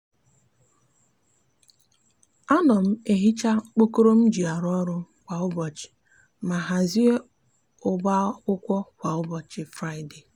a no m ehicha okpokoro mji aru oru kwa ubochi ma hazie ubo akwukwo kwa ubochi fraide.